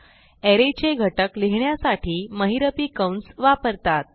अरे चे घटक लिहिण्यासाठी महिरपी कंस वापरतात